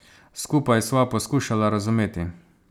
Skupaj sva poskušala razumeti.